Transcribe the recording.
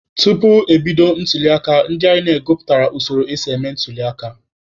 Tupu ebido ntuliaka, ndị INEC gụpụtara usoro esi eme ntuliaka.